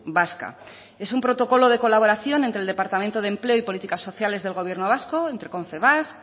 vasca es un protocolo de colaboración de colaboración entre el departamento de empleo y políticas sociales del gobierno vasco entre confebask